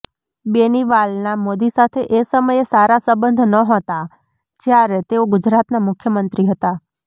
બેનીવાલના મોદી સાથે એ સમયે સારા સંબંધ ન્હોતા જ્યારે તેઓ ગુજરાતના મુખ્યમંત્રી હતા